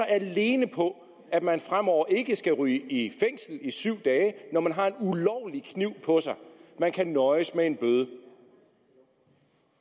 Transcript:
alene på at man fremover ikke skal ryge i fængsel i syv dage når man har en ulovlig kniv på sig man kan nøjes med en bøde